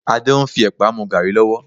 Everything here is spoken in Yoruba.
Adé ń fi ẹ̀pà mú gàárì lọ́wọ́